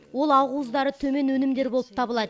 ол ақуыздары төмен өнімдер болып табылады